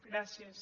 gràcies